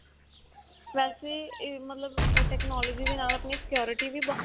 ਵੇਸੇ ਇਹ ਮਤਲਬ technology ਦੇ ਨਾਲ ਆਪਣੀ security ਵੀ ਬਹੁਤ